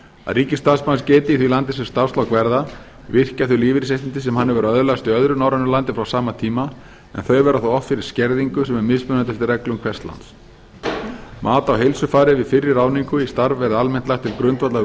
ríkisstarfsmaður geti í því landi sem starfslok verða virkjað þau lífeyrisréttindi sem hann hefur öðlast í öðru norrænu landi frá sama tíma en þau verði þá oft fyrir skerðingu sem er mismunandi eftir reglum hvers lands mat á heilsufari við fyrri ráðningu í starf verði almennt lagt til grundvallar við